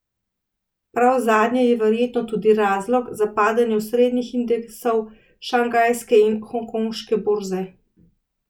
Prav zadnje je verjetno tudi razlog za padanje osrednjih indeksov šanghajske in hongkonške borze.